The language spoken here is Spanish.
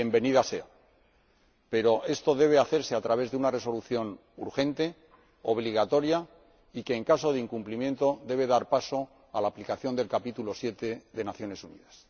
Bienvenida sea, pero esto debe hacerse a través de una resolución urgente, obligatoria, y que, en caso de incumplimiento, debe dar paso a la aplicación del capítulo 7 de la Carta de las Naciones Unidas.